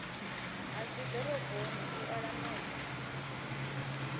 ha dzidoroboni u ola mepe